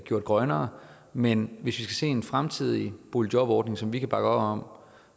gjort grønnere men hvis vi skal en fremtidig boligjobordning som vi kan bakke op om